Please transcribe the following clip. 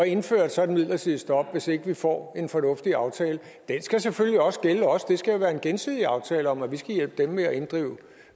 indføre et sådant midlertidigt stop hvis ikke vi får en fornuftig aftale den skal selvfølgelig også gælde os det skal være en gensidig aftale om at vi skal hjælpe dem med at inddrive